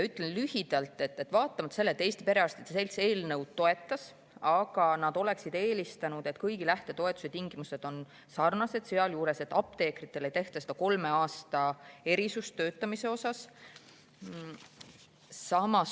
Ütlen lühidalt, et vaatamata sellele, et Eesti Perearstide Selts eelnõu toetas, oleksid nad eelistanud, et kõigi lähtetoetuste tingimused oleksid olnud sarnased, sealhulgas soovisid nad seda, et apteekritel ei oleks seda kolme aasta töötamise erisust.